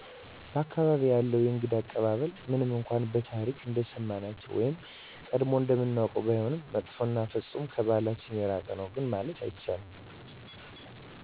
በ አካባቢየ ያለው የእንግዳ አቀባበል ምንም እነኳን በታሪክ እንደሰማናቸው ወይም ቀጀሞ እንደምናውቀው ባይሆንም መጥፎ እና ፍፁም ከበህላችን የራቀ ነው ማለት አይቻልም